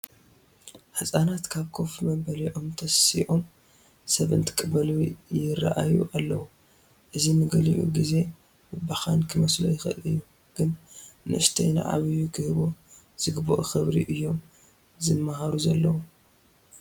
ህፃናት ካብ ኮፍ መበሊኦም ተሲኦም ሰብ እንትቕበሉ ይርአዩ ኣለዉ፡፡ እዚ ንገሊኡ ግዜ ምብኻን ክመስሎ ይኽእል እዩ፡፡ ግን ንኡሽተይ ንዓብዪ ክህቦ ዝግባእ ክብሪ እዮም ዝመሃሩ ዘለዉ፡፡